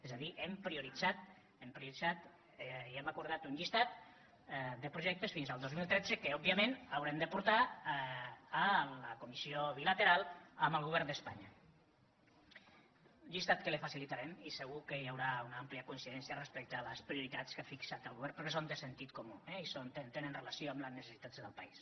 és a dir hem prioritzat i hem acordat un llistat de projectes fins al dos mil tretze que òbviament haurem de portar a la comissió bilateral amb el govern d’espanya llistat que li facilitarem i segur que hi haurà una àmplia coincidència respecte a les prioritats que ha fixat el govern perquè són de sentit comú eh i tenen relació amb les necessitats del país